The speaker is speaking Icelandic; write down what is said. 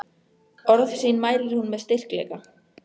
Orð sín mælir hún með styrkleika.